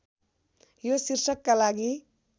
यो शीर्षकका लागि